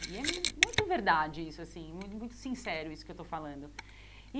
E é muito verdade isso assim, mu muito sincero isso que eu estou falando e.